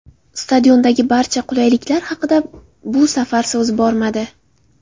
Stadiondagi barcha qulayliklar haqida bu safar so‘z bormadi.